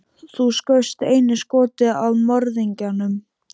Þú skaust einu skoti að morðingjanum.